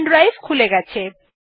pen drive খুলে গেছে